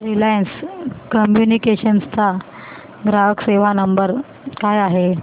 Reliance Communications चा ग्राहक सेवा नंबर काय आहे